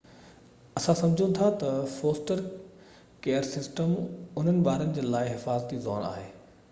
اسان سمجهون ٿا تہ فوسٽر ڪيئر سسٽم انهن ٻارن جي لاءِ حفاظتي زون آهي